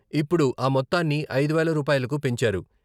ఇప్పుడు ఆ మొత్తాన్ని ఐదు వేల రూపాయలకు పెంచారు.